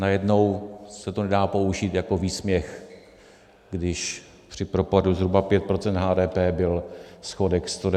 Najednou se to nedá použít jako výsměch, když při propadu zhruba 5 % HDP byl schodek 192 miliard.